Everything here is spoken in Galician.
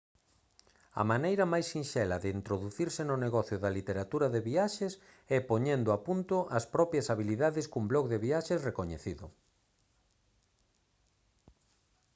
a maneira máis sinxela de introducirse no negocio da literatura de viaxes é poñendo a punto as propias habilidades cun blog de viaxes recoñecido